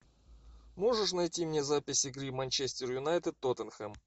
можешь найти мне запись игры манчестер юнайтед тоттенхэм